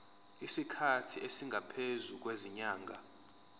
isikhathi esingaphezulu kwezinyanga